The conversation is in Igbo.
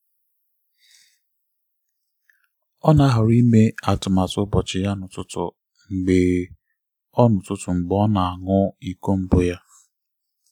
ọ na-ahọrọ ime atụmatụ ụbọchị ya n'ụtụtụ mgbe ọ n'ụtụtụ mgbe ọ na-aṅụ iko mbụ ya.